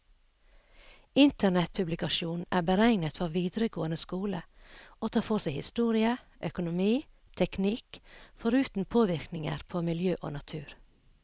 Internettpublikasjonen er beregnet for videregående skole, og tar for seg historie, økonomi, teknikk, foruten påvirkninger på miljø og natur.